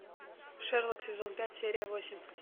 шерлок сезон пять серия восемь